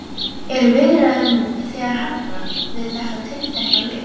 Eru viðræður nú þegar hafnar við þetta tiltekna lið?